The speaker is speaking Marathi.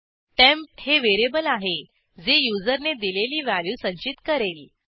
टेम्प हे व्हेरिएबल आहे जे युजरने दिलेली व्हॅल्यू संचित करेल